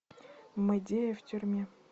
мэдея в тюрьме